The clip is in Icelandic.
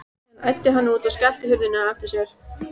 Síðan æddi hann út og skellti hurðinni á eftir sér.